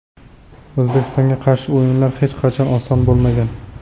O‘zbekistonga qarshi o‘yinlar hech qachon oson bo‘lmagan.